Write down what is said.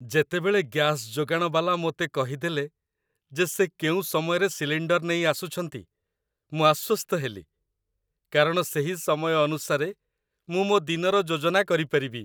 ଯେତେବେଳେ ଗ୍ୟାସ୍ ଯୋଗାଣ ବାଲା ମୋତେ କହିଦେଲେ ଯେ ସେ କେଉଁ ସମୟରେ ସିଲିଣ୍ଡର୍ ନେଇ ଆସୁଛନ୍ତି, ମୁଁ ଆଶ୍ୱସ୍ତ ହେଲି, କାରଣ ସେହି ସମୟ ଅନୁସାରେ ମୁଁ ମୋ ଦିନର ଯୋଜନା କରିପାରିବି।